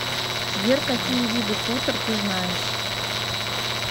сбер какие виды хутор ты знаешь